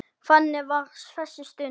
Þannig var þessi stund.